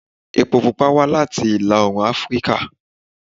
Epo pupa wá láti ìlà-oòrùn Afíríkà